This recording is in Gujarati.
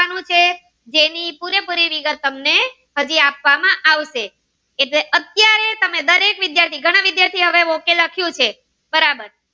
જેની પૂરેપૂરી વિગત તમને હજી આપવામાં આવશે એટલે અત્યારે તમે દરેક વિદ્યાર્થી એટલે ઘણા વિદ્યાર્થીઓ એ લખ્યું છે બરાબર